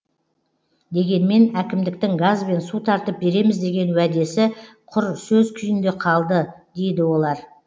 дегенмен әкімдіктің газ бен су тартып береміз деген уәдесі құр сөз күйінде қалды дейді олар